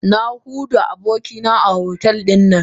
Na hadu da abokina a otel